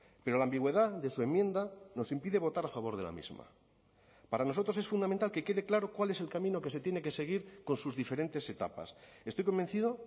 pero la ambigüedad de su enmienda nos impide votar a favor de la misma para nosotros es fundamental que quede claro cuál es el camino que se tiene que seguir con sus diferentes etapas estoy convencido